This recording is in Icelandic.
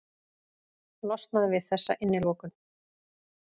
Losnað við þessa innilokun.